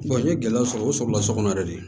n ye gɛlɛya sɔrɔ o sɔrɔla sokɔnɔ de ye